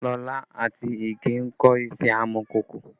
Lola àti Ìgè ń kọ́ iṣẹ́ amọ̀kòkò